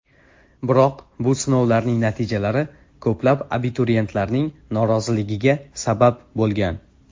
Biroq bu sinovlarning natijalari ko‘plab abituriyentlarning noroziligiga sabab bo‘lgan.